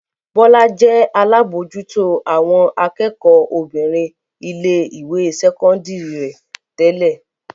Bọ́lá jẹ́ alábòójútó àwọn akẹ́kọ̀ọ́ obìnrin ilé-ìwé sẹ́kọ́ndárì rẹ̀ tẹ́lẹ̀.